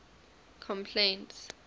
complaints